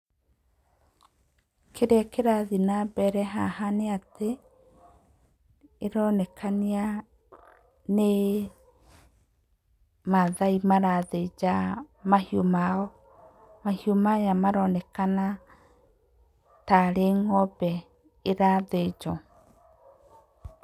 Kĩrĩa kĩrathiĩ na mbere haha nĩ atĩ, ĩronekania nĩ mathai marathĩnja mahiũ mao. Mahiũ maya maronekana tarĩ ng'ombe ĩrathĩnjwo.